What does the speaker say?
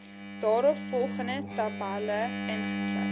daaropvolgende tabelle ingesluit